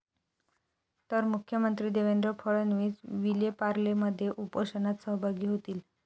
तर मुख्यमंत्री देवेंद्र फडणवीस विलेपार्लेमध्ये उपोषणात सहभागी होतील.